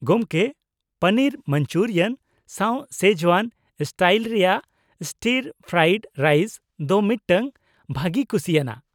ᱜᱚᱝᱠᱮ, ᱯᱚᱱᱤᱨ ᱢᱟᱧᱡᱩᱨᱤᱭᱟᱱ ᱥᱟᱶ Szechuan style ᱨᱮᱭᱟᱜ ᱥᱴᱤᱨᱼᱯᱷᱨᱟᱭᱤᱰ ᱨᱟᱭᱤᱥ ᱫᱚ ᱢᱤᱫᱴᱟᱝ ᱵᱷᱟᱹᱜᱤ ᱠᱩᱥᱤᱭᱟᱱᱟᱜ ᱾